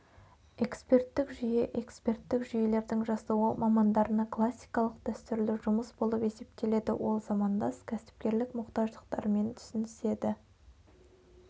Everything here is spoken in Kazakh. эксперттік жүйе эксперттік жүйелердің жасауы мамандарына классикалық дәстүрлі жұмыс болып есептеледі ол замандас кәсіпкерлік мұқтаждықтарымен түсініседі